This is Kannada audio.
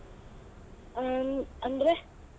ಹ್ಮ್ ಅಂದ್ರೆ?